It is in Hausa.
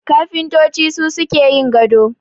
Kafintoci su suke yin gado